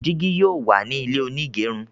jìgì yóò wá ní ilé onigerun